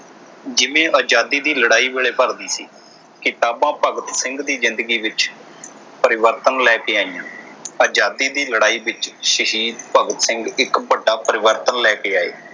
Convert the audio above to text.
ਜਿਵੇਂ ਆਜ਼ਾਦੀ ਦੀ ਲੜਾਈ ਵੇਲੇ ਭਰਤੀ ਸੀ। ਕਿਤਾਬਾਂ ਭਗਤ ਸਿੰਘ ਦੀ ਜਿੰਦਗੀ ਵਿਚ ਪਰਿਵਰਤਨ ਲੈ ਕੇ ਆਈਆਂ। ਆਜ਼ਾਦੀ ਦੀ ਲੜਾਈ ਵਿਚ ਸ਼ਹੀਦ ਭਗਤ ਸਿੰਘ ਇਕ ਵੱਡਾ ਪਰਿਵਰਤਨ ਲੈ ਕੇ ਆਏ।